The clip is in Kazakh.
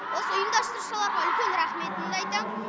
осы ұйымдастырушыларға үлкен рахметімді айтам